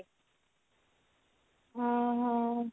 ହଁ ହଁ